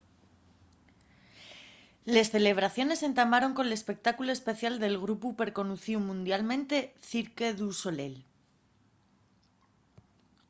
les celebraciones entamaron con un espectáculu especial del grupu perconocíu mundialmente cirque du soleil